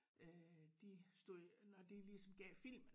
Øh de stod når de ligesom gav filmen